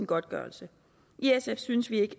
godtgørelse i sf synes vi ikke